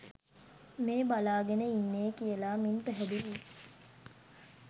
මේ බලාගෙන ඉන්නේ කියලා මින් පැහැදිලියි.